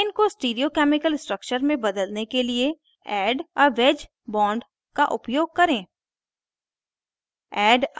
ethane को stereo chemical structure में बदलने के लिए add a wedge bond का उपयोग करें